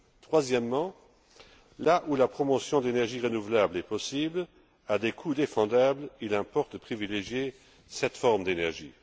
Troisièmement, là où la promotion de l'énergie renouvelable est possible à des coûts défendables, il importe de privilégier cette forme d'énergie.